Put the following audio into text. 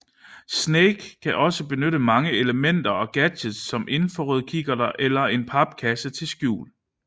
Snake kan også benytte mange elementer og gadgets såsom infrarødkikkerter eller en papkasse til skjul